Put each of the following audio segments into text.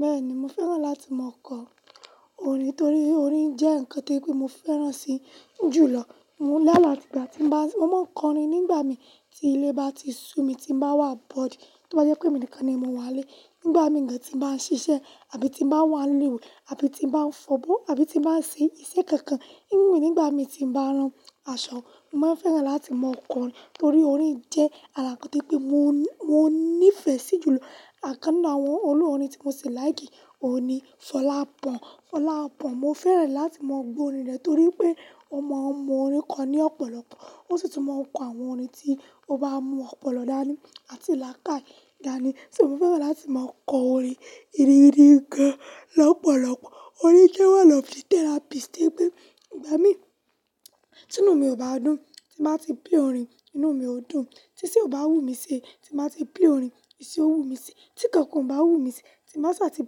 Bẹ́ẹ̀ni, mo fẹ́ràn láti máa kọ orin torí orin jẹ́ nǹkan tí pé mo fẹ́ràn si jùlọ. Mo máa ń kọrin nígbà mi tí ilé bá ti sú mi, tí mo bá wà bọred tó bá jẹ́ pé èmi nìkan ni mo wà nlé, nígbà míì re tí mo bá ń ṣiṣẹ́ àbí ti bá wà n le ìwé àbí ti bá ń fọ̀bọ́ àbí ti bá ń ṣe iṣẹ́ kankan. Nígbà mi tí m bá ń rán aṣọ, mo máa n fẹ́ràn láti máa kọ orin torí orin jẹ́ ara nkan to yo pé mo, mo nífẹ̀ẹ́ sí jùlọ. Ara kan nínú àwọn olórin tí mo ṣi like òun ni Fọlápo. Fọlápo, mo fẹ́ràn láti máa gbó orin rẹ̀ torí pé ó mọ, mọ orin kọ ní ọ̀pọ̀lọpọ̀. Ó sì tún mọ n kọ àwọn orin tí ó bá mú ọ̀pọ̀lọpọ̀ dání àti làákàyè dání. So, mo fẹ́ràn láti máa kọ orin ìrírí gan lọ́pọ̀lọpọ̀. Orin jẹ́ one of the therapist to ye pé nígbà mi tí inú mi ò bá dùn, tí m ba ti play orin, inú mi ó dùn. Tí iṣẹ́ ò bá wù mí sí, tí m ba ti play orin, iṣẹ́ ó wù mí sí. Tí kankan ò bá wù mí se, tí m baà sa ti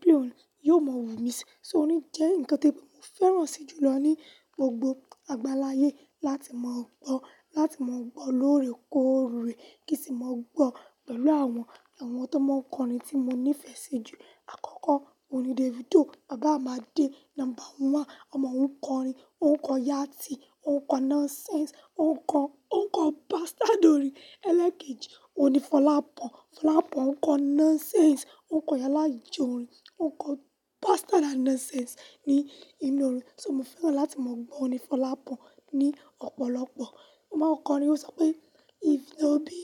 play orin, yóò máa wù mí sí. So, orin jẹ́ nǹkan to ye pe mo fẹ́ràn si jùlọ ní gbogbo àgbálaayé láti máa gbọ́, láti máa gbọ́ lóore kóòre kí sì máa gbọ́ pẹ̀lú àwọn, àwọn tó máa ń kọ orin tí mo nífẹ̀ẹ́ sí jù. Àkọ́kọ́, òun ni Davido, baba Imade number one. Ọmọ òun ń kọ orin, ó ń kọ yátì, ó ń kọ nonsense, ó ń kọ, ó ń kọ bastard orin. Elekeji, òun ni Folapo Fọlápo ń kọ nonsense, ó ń kọ iyálàyè orin, ó ń kọ bastard and nonsense ní inú orin. So mo fẹ́ràn láti máa gbọ́ òrin ni Fọlápo ní ọ̀pọ̀lọpọ̀. Ó máa ń kọ orin, ó sọ pé "if no be"